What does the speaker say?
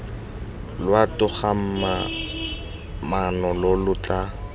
lwa togamaano lo lo tla